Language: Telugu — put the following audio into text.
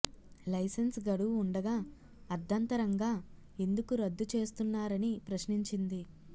లైసెన్స్ గడువు ఉండగా అర్ధంతరంగా ఎందుకు రద్దు చేస్తున్నారని ప్రశ్నించింది